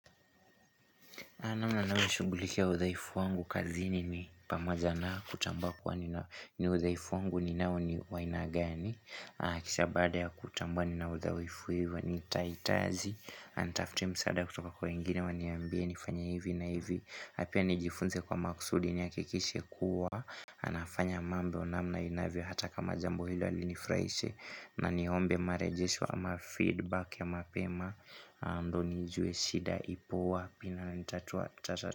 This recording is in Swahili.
Namna na nishugulikia udhaifu wangu kazini ni pamoja na kutambua kwa ni uthaifu wangu ni nao ni wa aina gani Kisha baada ya kutambua ni na udhaifu hivyo nitahitaji na nitafute msaada kutoka kwa wengine waniambie nifanya hivi na hivi na pia nijifunze kwa makusudi nihakikishe kuwa anafanya mambo namna inavyo hata kama jambo hilo alinifraise na nihombe marejishwa ama feedback ya mapema ndio nijue shida ipo wapi na nitatua.